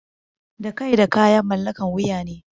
Da kai da kaya mallakan wuya ne.